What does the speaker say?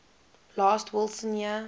last wilson year